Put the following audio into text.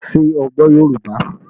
Ṣé o gbọ́ Yorùbá?